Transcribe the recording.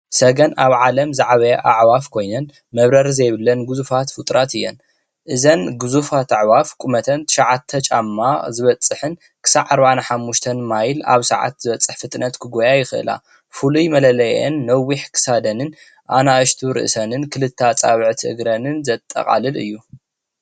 ሰገን ኣብ ዓለም ዝዓበያ ኣዕዋፍ ኮይነን መበረሪ ዘየብለን ግዙፋት ፉጡራት እየን፡፡ እዘን ጉዙፋት ኣዕዋፋይ ቁመተን ትሻዓተ ጫማ ዝበፅሕን ክሳብ ኣርባዓን ሓሙሽተን ማይል ኣብ ሰዓትዝበፅሕ ፍጥነት ክጎያ ይክእላ፡፡ ፍሉይ መለለይአን ነዊሕ ክሳደንን ኣነእሽቲ ርእሰንን ክልተ ኣፃብዕቲ እግረንን ዘጠቃልል እዩ፡፡